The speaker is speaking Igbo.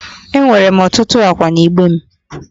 Enwere m ọtụtụ ákwà n'igbe m